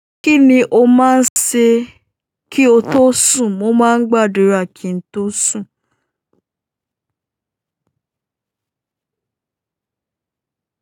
Kí ni o máa ń ṣe kí o tó sùn? Mo máa ń gbàdúrà kí n tó sùn.